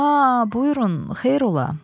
Aa, buyurun, xeyr ola.